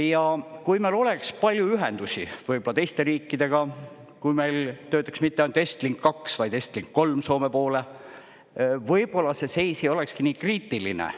Ja kui meil oleks palju ühendusi võib-olla teiste riikidega, kui meil töötaks mitte ainult Estlink 2, vaid Estlink 3 Soome poole, võib-olla see seis ei olekski nii kriitiline.